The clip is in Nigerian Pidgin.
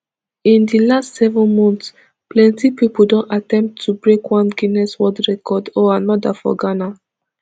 in di last seven months plenti pipo don attempt to break one guinness world record or another for ghana